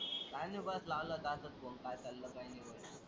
काही नाही बस लावलं होत असच फोन काय चाललंय काही नाही बघायला?